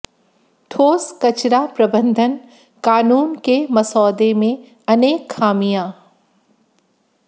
ठोस कचरा प्रबंधन कानून के मसौदे में अनेक खामियां